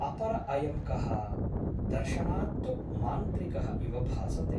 अपर अयं कः ? दर्शनात् तु मान्त्रिकः इव भासते ।